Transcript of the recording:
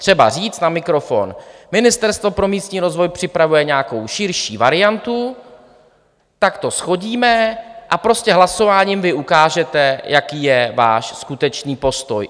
Třeba říct na mikrofon: Ministerstvo pro místní rozvoj připravuje nějakou širší variantu, tak to shodíme, a prostě hlasováním vy ukážete, jaký je váš skutečný postoj.